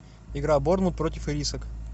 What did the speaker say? игра борнмут против ирисок